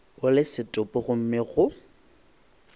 o le setopo gomme go